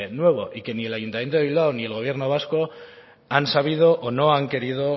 nuevo y que ni el ayuntamiento de bilbao ni el gobierno vasco han sabido o no han querido